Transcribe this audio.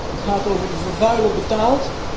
Het gaat over 'de vervuiler betaalt'.